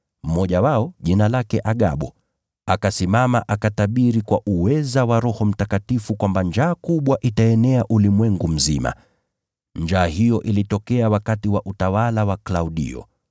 Mmoja wao, jina lake Agabo, akasimama akatabiri kwa uweza wa Roho Mtakatifu kwamba njaa kubwa itaenea ulimwengu mzima. Njaa hiyo ilitokea wakati wa utawala wa Klaudio.